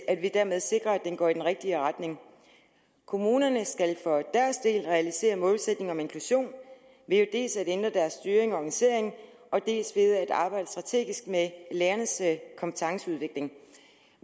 at vi dermed sikrer at den går i den rigtige retning kommunerne skal for deres del realisere målsætningen om inklusion ved dels at ændre deres styring og organisering dels ved at arbejde strategisk med lærernes kompetenceudvikling